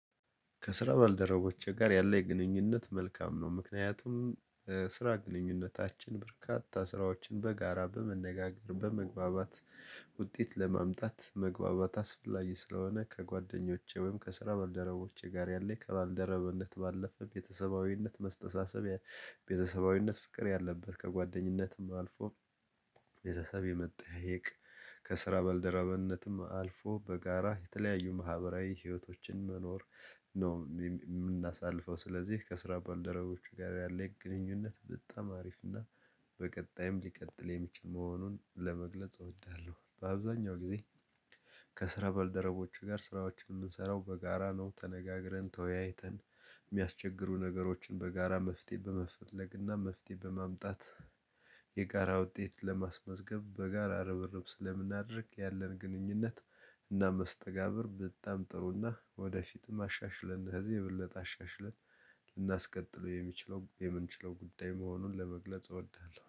ከስራ ባልደረቦቼ ጋር ያለ የግንኙነት መልካም ነው። ምክንያቱም ስራ ግንኙነታችን በርካታ ስራዎችን በጋራ በመነጋገር በመግባባት ውጤት ለማምጣት መግባባት አስፈላጊ ስለሆነ ከጓደኞቼ ወይም ከስራ ባልደረቦቼ ጋር ያለ ከባልደረብነት ባለፈ ቤተሰባዊነት መስተሳሰብ የቤተሰባዊነት ፍቅር ያለበት ከጓደኝነትም አልፎ። ቤተሰብ የመጠያየቅ ከስራ በልደራበነትም አልፎ በጋራ የተለያዩ ማህበራዊ ህይወቶችን መኖር ነው የምናሳልፈው። ስለዚህ ከስራ ባልደረቦቼ ጋር ያለኝ የግንኙነት በጣም አሪፍ እና በቀጣይም ሊቀጥል የሚችል መሆኑን ለመግለጽ እወዳለሁ። በአብዛኛው ጊዜ ከስራ በልደረቦቼ ጋር ስራዎችን የምንሰራው በጋራ ነው ተነጋግረን ተወያይተን የሚያስቸግሩ ነገሮችን በጋራ መፍትሄ በመፈለግና መፍትሄ በማምጣት። የጋራ ውጤት ለማስመዝገብ በጋራ ርብርብ ስለምናደርግ ያለን ግንኙነት እና መስተጋብር በጣም ጥሩና ወደፊትም አሻሽለን እነዚህ የብለጥ የበለጠ አሻሽለን ልናስቀጥለው የምንችለው የምንችለው ጉዳይ መሆኑን ለመግለጽ እወዳለሁ